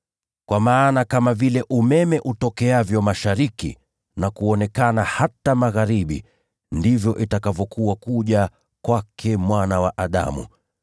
Kwa maana kama vile umeme utokeavyo mashariki na kuonekana hata magharibi, ndivyo itakavyokuwa kuja kwake Mwana wa Adamu.